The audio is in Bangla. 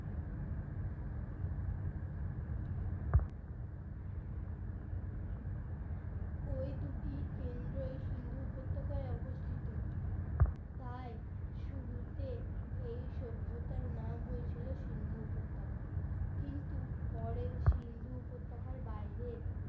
ওই দুটি কেন্দ্রয় সিন্ধু উপত্যকায় অবস্থিত তাই শুরুতে এই সভ্যতার নাম হয়েছিল সিন্ধু উপত্যকা কিন্তু পরে সিন্ধু উপত্যকার বাইরে